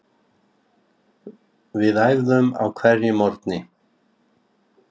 Við æfðum á hverjum morgni.